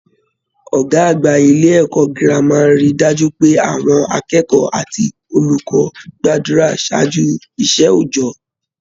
Ọgá àgbà ilé ẹ̀kọ́ gírámà rí dájú pé àwọn akẹ́kọ̀ọ́ àti olùkọ́ gbàdúrà ṣáájú iṣẹ oojọ.